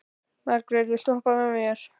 Margeir, viltu hoppa með mér?